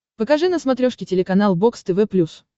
покажи на смотрешке телеканал бокс тв плюс